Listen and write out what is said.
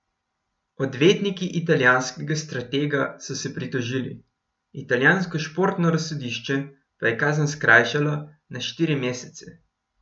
Odvetniki italijanskega stratega so se pritožili, italijansko športno razsodišče pa je kazen skrajšalo na štiri mesece.